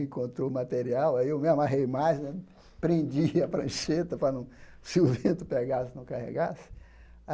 Encontrou o material, aí eu me amarrei mais né, prendi a prancheta para não se o vento pegasse, não carregasse.